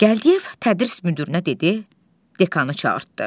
Gəldiyev tədris müdirinə dedi, dekanı çağırdı.